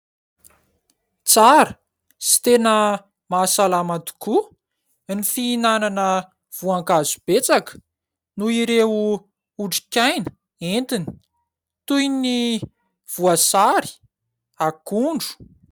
Tsara sy tena mahasalama tokoa ny fihinana voankazo betsaka noho ireo otrikaina entiny toy ny : voasary, akondro.